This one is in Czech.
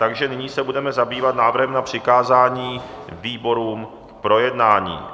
Takže nyní se budeme zabývat návrhem na přikázání výborům k projednání.